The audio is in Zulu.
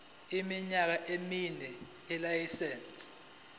iminyaka emine yelayisense